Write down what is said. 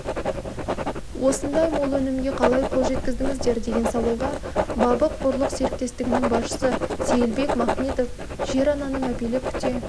осындай мол өнімге қалай қол жеткіздіңіздер деген сауалға бабық-бұрлық серіктестігінің басшысы сейілбек махметов жер-ананы мәпелеп күте